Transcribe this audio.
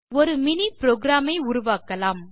ஒரு mini program ஐ உருவாக்கலாம்